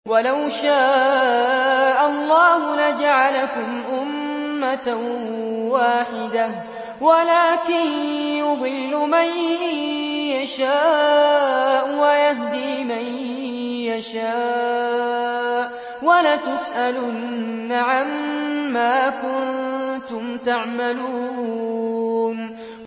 وَلَوْ شَاءَ اللَّهُ لَجَعَلَكُمْ أُمَّةً وَاحِدَةً وَلَٰكِن يُضِلُّ مَن يَشَاءُ وَيَهْدِي مَن يَشَاءُ ۚ وَلَتُسْأَلُنَّ عَمَّا كُنتُمْ تَعْمَلُونَ